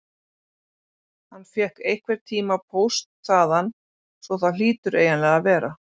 Hann fékk einhverntíma póst þaðan svo það hlýtur eiginlega að vera.